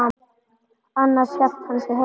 Annars hélt hann sig heima.